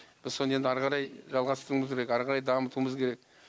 біз соны енді әрі қарай жалғастыруымыз керек әрі қарай дамытуымыз керек